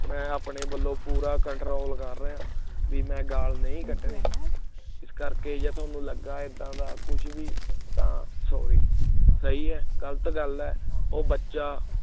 ਮੈਂ ਆਪਣੇ ਵੱਲੋਂ ਪੂਰਾ control ਕਰ ਰਿਹਾਂ ਕੇ ਬਈ ਮੈਂ ਗਾਲ ਨ੍ਹੀ ਕੱਢਣੀ ਇਸ ਕਰਕੇ ਜੇ ਤੁਹਾਨੂੰ ਲੱਗਾ ਏਦਾਂ ਦਾ ਕੁਝ ਵੀ ਤਾਂ sorry ਸਹੀ ਹੈ ਗਲਤ ਗੱਲ ਹੈ ਉਹ ਬੱਚਾ